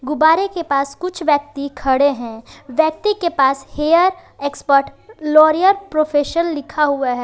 गुब्बारे के पास कुछ व्यक्ति खड़े हैं व्यक्ति के पास हेयर एक्सपर्ट लॉरिअल प्रोफेशन लिखा हुआ है।